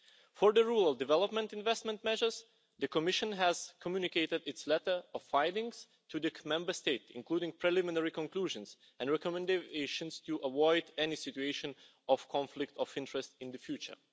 For the rural development investment measures, the Commission has communicated its letter of findings to the Member States, including preliminary conclusions and recommendations to avoid any situation of conflict of interest in the future.